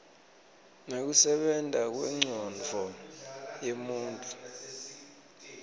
nekusebenta kwencondvo yemuntfu